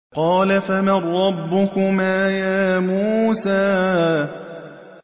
قَالَ فَمَن رَّبُّكُمَا يَا مُوسَىٰ